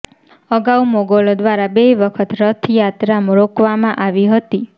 અગાઉ મોગલો દ્વારા બે વખત રથયાત્રા રોકવામાં આવી હતી